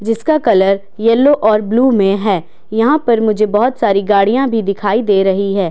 इसका colour yellow और blue में है यहां पर मुझे बहुत सारी गाड़ियां भी दिखाई दे रही है।